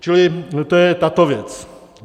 Čili to je tato věc.